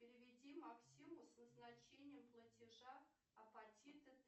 переведи максиму с назначением платежа апатиты